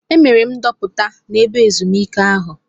Emere m ndoputa n'ebe ezumike ahụ.